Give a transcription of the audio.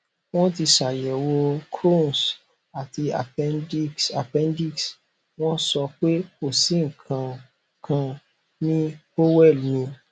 wọn ti ṣayẹwò crohns àti appendix appendix wọn sọ pé kò sí nnkan kankan ní cs] bowel mi